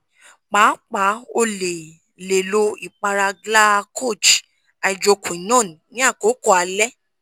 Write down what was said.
pàápá o le le lo ipara glyaha koj hydroquinone ni akoko alẹ́